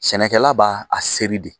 Sɛnɛkɛla b'a a seri de